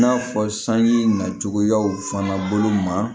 I n'a fɔ sanji nacogoyaw fana bolo ma